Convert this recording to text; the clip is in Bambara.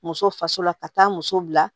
Muso faso la ka taa muso bila